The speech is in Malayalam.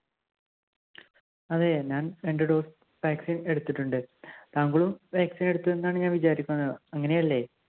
അതെ ഞാൻ രണ്ട്‌ dose vaccine എടുത്തുട്ടുണ്ട്. താങ്കളും vaccine എടുത്ത് ന്നാണ് ഞാൻ വിചാരിക്കുന്നത്. അങ്ങനെയല്ലേ?